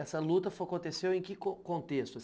Essa luta aconteceu em que que contexto assim?